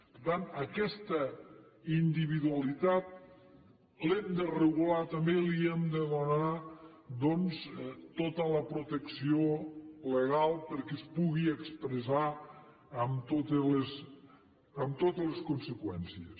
per tant aquesta individualitat l’hem de regular també li hem de donar doncs tota la protecció legal perquè es pugui expressar amb totes les conseqüències